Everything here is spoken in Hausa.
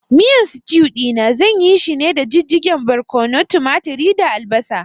Miyan sitiu ɗina zan yishi ne daga jijjigen barƙwano, tumaturi da albasa